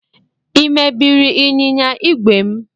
Ị mebiri ịnyịnya igwe m?